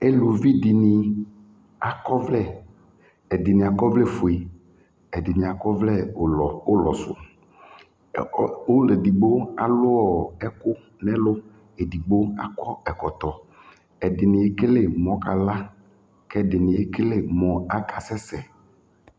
Eluvi dɩnɩ akɔ ɔvlɛ, ɛdɩnɩ akɔ ɔvlɛ fue, ɛdɩnɩ akɔ ɔvlɛ ʋlɔ ʋlɔ sʋ ɔ ɔlʋ edigbo alʋ ɔ ɛkʋ nʋ ɛlʋ Edigbo akɔ ɛkɔtɔ Ɛdɩnɩ ekele mʋ ɔkala kʋ ɛdɩnɩ ekele mʋ akasɛsɛ